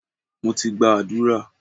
Mo ti gba àdúrà.